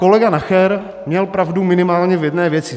Kolega Nacher měl pravdu minimálně v jedné věci.